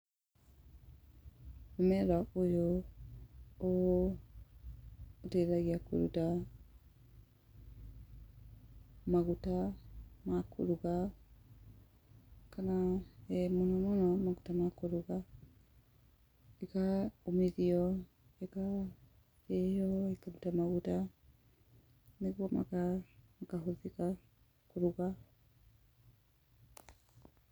Mũmera ũyũ ũteithagia kũruta maguta makũruga, kana mũno mũno makũruga, ĩkomithio ĩkaruta maguta, nĩguo makahũthĩka kũruga.